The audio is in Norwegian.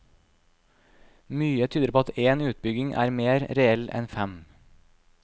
Mye tyder på at én utbygging er mer reell enn fem.